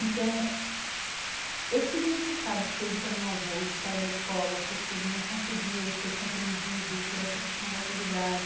Então esse significado que teve para meu avô de sair da escola porque ele não conseguiu ser compreendido por essa questão da autoridade